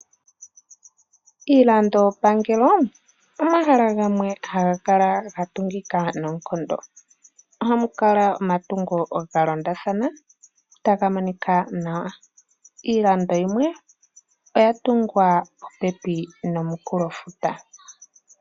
Iilandopangelo omahala gamwe haga kala ga tungika noonkondo. Ohamu kala omatungo ga londathana taga monika nawa. Iilando yimwe oya tungwa popepi nomunkulofuta.